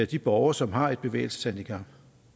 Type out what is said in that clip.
de borgere som har et bevægelseshandicap